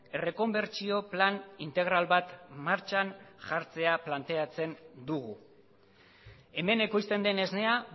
errekonbertsio plan integral bat martxan jartzea planteatzen dugu hemen ekoizten den esnea